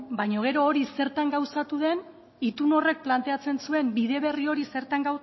baina gero hori zertan gauzatu den itun horrek planteatzen zuen bide berri hori zertan